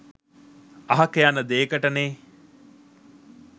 අහක යන දේකට නේ